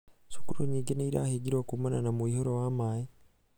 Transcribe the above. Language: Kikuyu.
cukuru nyingĩ nĩ irahingirwo kumana na mũihũro wa maĩ.